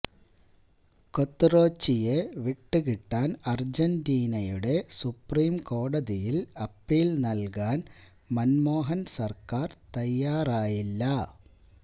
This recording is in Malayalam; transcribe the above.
ക്വത്റോച്ചിയെ വിട്ടുകിട്ടാന് അര്ജന്റീനയുടെ സുപ്രീം കോടതിയില് അപ്പീല് നല്കാന് മന്മോഹന് സര്ക്കാര് തയ്യാറായില്ല